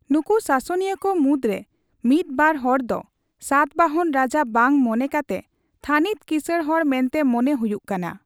ᱱᱩᱠᱩ ᱥᱟᱥᱚᱱᱤᱭᱟᱹ ᱠᱚ ᱢᱩᱫᱽᱨᱮ ᱢᱤᱫᱵᱟᱨ ᱦᱚᱲ ᱫᱚ ᱥᱟᱛᱵᱟᱦᱚᱱ ᱨᱟᱡᱟ ᱵᱟᱝ ᱢᱚᱱᱮ ᱠᱟᱛᱮ ᱛᱷᱟᱹᱱᱤᱛ ᱠᱤᱥᱟᱹᱬ ᱦᱚᱲ ᱢᱮᱱᱛᱮ ᱢᱚᱱᱮ ᱦᱩᱭᱩᱜ ᱠᱟᱱᱟ ᱾